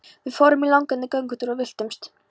Við fórum í langan göngutúr og villtumst!